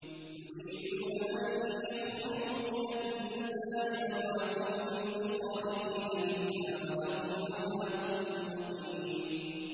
يُرِيدُونَ أَن يَخْرُجُوا مِنَ النَّارِ وَمَا هُم بِخَارِجِينَ مِنْهَا ۖ وَلَهُمْ عَذَابٌ مُّقِيمٌ